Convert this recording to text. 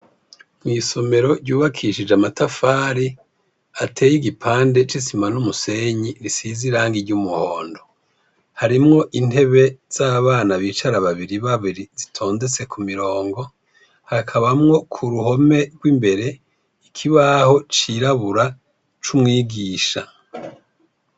Mw'isomero ryubakishije amatafari, hateye igipande c'isima n'umusenyi, isize irangi ry'umuhondo, harimwo intebe z'abana bicara babiri babiri zitondetse k'umurongo, hakabamwo k'uruhome rw'imbere ikibaho cirabura c'umwigisha.